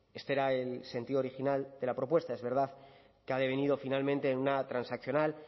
este era el sentido original de la propuesta es verdad que ha devenido finalmente una transaccional